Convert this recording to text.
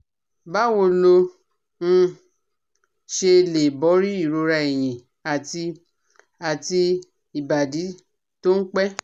Báwo lo um ṣe lè borí ìrora ẹ̀yìn àti àti ibadi tó ń pẹ́?